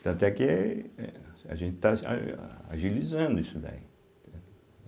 Tanto é que eh a gente está ah agilizando isso daí, entende.